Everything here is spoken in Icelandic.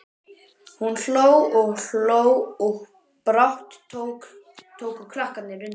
Hún hló og hló og brátt tóku krakkarnir undir.